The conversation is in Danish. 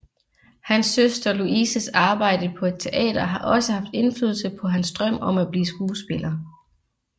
Hans søster Louises arbejde på et teater har også haft indflydelse på hans drøm om at blive skuespiller